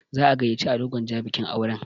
Za'a gayyaci Ado Gwanja bikin auren.